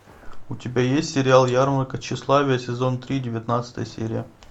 у тебя есть сериал ярмарка тщеславия сезон три девятнадцатая серия